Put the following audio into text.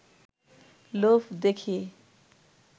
লোভ দেখিয়ে